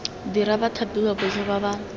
dira bathapiwa botlhe ba ba